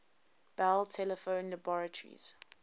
bell telephone laboratories